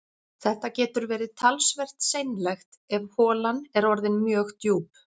Þetta getur verið talsvert seinlegt ef holan er orðin mjög djúp